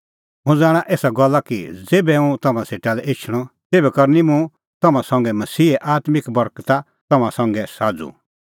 हुंह ज़ाणा एसा गल्ला कि ज़ेभै हुंह तम्हां सेटा लै एछणअ तेभै करनी मुंह तम्हां संघै मसीहे आत्मिक बर्गता तम्हां संघै साझ़ू